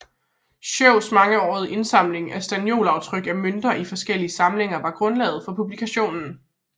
Schous mangeårige indsamling af staniolaftryk af mønter i forskellige samlinger var grundlaget for publikationen